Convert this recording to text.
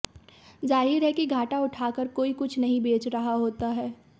जाहिर है कि घाटा उठा कर कोई कुछ नहीं बेच रहा होता हैं